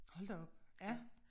Hold da op ja